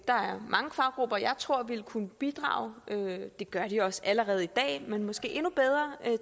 der er mange faggrupper som jeg tror ville kunne bidrage det gør de også allerede i dag men måske endnu bedre